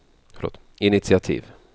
initiativ